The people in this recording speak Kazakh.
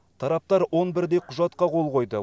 тараптар он бірдей құжатқа қол қойды